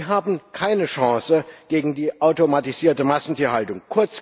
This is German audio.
Die haben keine Chance gegen die automatisierte Massentierhaltung.